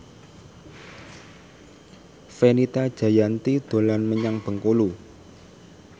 Fenita Jayanti dolan menyang Bengkulu